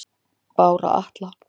Bára Atla